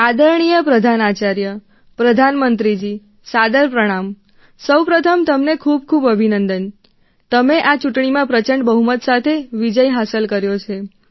આદરણીય પ્રધાનાચાર્ય પ્રધાનમંત્રીજી સાદર પ્રણામ સૌ પ્રથમ તમને ખૂબ ખૂબ અભિનંદન તમે આ ચૂંટણીમાં પ્રચંડ બહુમત સાથે વિજય હાંસલ કર્યો છે